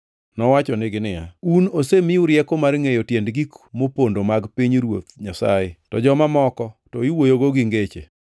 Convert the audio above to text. Nowachonigi niya, “Un osemiu rieko mar ngʼeyo tiend gik mopondo mag pinyruoth Nyasaye. To joma moko, to iwuoyogo gi ngeche